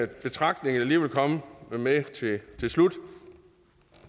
betragtning jeg lige vil komme med til slut